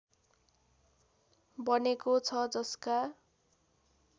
बनेको छ जसका